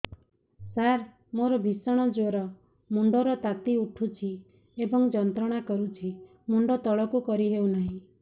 ସାର ମୋର ଭୀଷଣ ଜ୍ଵର ମୁଣ୍ଡ ର ତାତି ଉଠୁଛି ଏବଂ ଯନ୍ତ୍ରଣା କରୁଛି ମୁଣ୍ଡ ତଳକୁ କରି ହେଉନାହିଁ